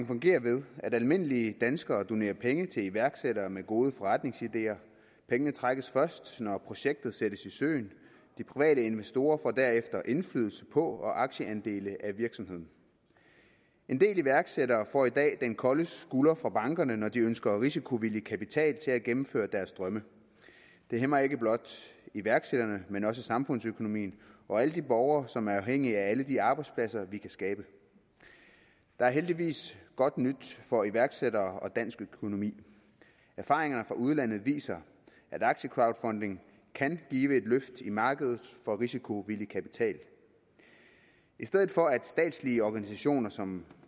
fungerer ved at almindelige danskere donerer penge til iværksættere med gode forretningsideer pengene trækkes først når projektet sættes i søen de private investorer får derefter indflydelse på og aktieandele af virksomheden en del iværksættere får i dag den kolde skulder fra bankerne når de ønsker risikovillig kapital til at gennemføre deres drømme det hæmmer ikke blot iværksætterne men også samfundsøkonomien og alle de borgere som er afhængige af alle de arbejdspladser vi kan skabe der er heldigvis godt nyt for iværksættere og dansk økonomi erfaringer fra udlandet viser at aktiecrowdfunding kan give et løft i markedet for risikovillig kapital i stedet for at statslige organisationer som